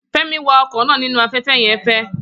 Femi wa ọkọ̀ náà nínú afẹ́fẹ́ yẹn fe